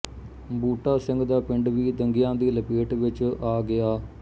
ਬੂਟਾ ਸਿੰਘ ਦਾ ਪਿੰਡ ਵੀ ਦੰਗਿਆਂ ਦੀ ਲਪੇਟ ਵਿੱਚ ਆ ਗਿਆ